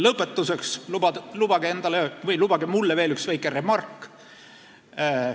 Lõpetuseks lubage mulle veel üks väike remark.